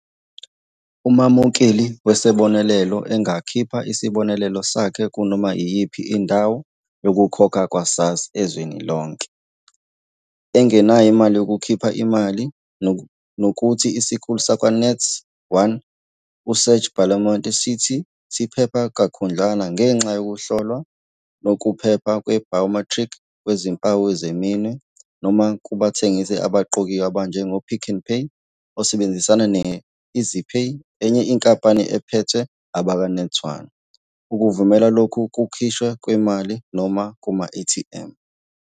Umamukeli wesibonelelo angakhipha isibonelelo sakhe kunoma iyiphi indawo yokukhokha yakwa-SASSA ezweni lonke, engenayo imali yokukhipha imali, nokuthi isikhulu sakwaNet1 uSerge Belamont sithi siphephe kakhudlwana ngenxa yokuhlolwa kokuphepha kwe-biometric kwizimpawu zeminwe, noma kubathengisi abaqokiwe abanjengoPick n Pay, osebenzisana ne-EasyPay, enye inkampani ephethwe abakwaNet1, ukuvumela lokhu kukhishwa kwemali, noma kuma-ATM.